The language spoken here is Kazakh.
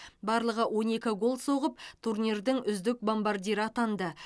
барлығы он екі гол соғып турнирдің үздік бомбардирі атанды